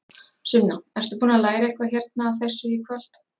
Sunna: Ertu búinn að læra eitthvað hérna af þessu í kvöld?